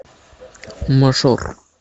мажор